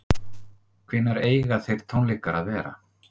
Heimir: Hvenær eiga þeir tónleikar að vera?